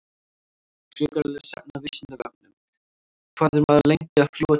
Frekara lesefni á Vísindavefnum: Hvað er maður lengi að fljúga til tunglsins?